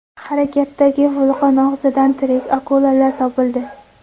Harakatdagi vulqon og‘zidan tirik akulalar topildi .